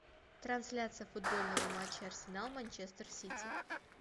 трансляция футбольного матча арсенал манчестер сити